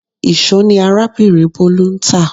Íṣo ni arábìnrin Bolu ń tá